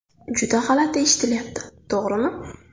Juda g‘alati eshitilyapti to‘g‘rimi?